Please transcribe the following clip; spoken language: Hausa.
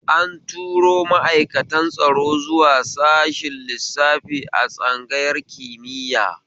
An turo ma'aikatan tsaro zuwa sashen lissafi a tsangayar kimiya